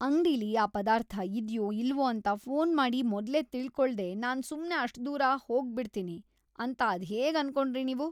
ಅಂಗ್ಡಿಲಿ ಆ ಪದಾರ್ಥ ಇದ್ಯೋ ಇಲ್ವೋ ಅಂತ ಫೋನ್‌ ಮಾಡಿ ಮೊದ್ಲೇ ತಿಳ್ಕೊಳ್ದೇ ನಾನ್‌ ಸುಮ್ನೇ ಅಷ್ಟ್‌ ದೂರ ಹೋಗ್ಬಿಡ್ತೀನಿ ಅಂತ ಅದ್ಹೇಗ್‌ ಅನ್ಕೊಂಡ್ರಿ ನೀವು?!